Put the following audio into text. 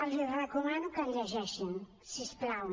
els recomano que el llegeixin si us plau